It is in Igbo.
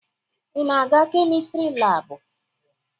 Ị na-aga Kemịstri laabụ?